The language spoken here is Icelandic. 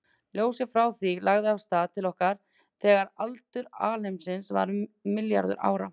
Ljósið frá því lagði af stað til okkar þegar aldur alheimsins var um milljarður ára.